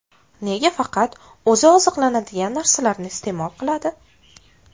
Nega faqat o‘zi oziqlanadigan narsalarni iste’mol qiladi?